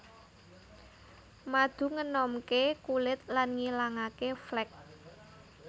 Madu ngenomké kulit lan ngilangake flek